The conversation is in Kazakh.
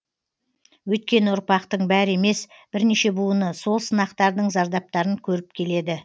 өйткені ұрпақтың бәрі емес бірнеше буыны сол сынақтардың зардаптарын көріп келеді